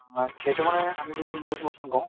মানে সেইটো মানে আমি যিটো loose motion কওঁ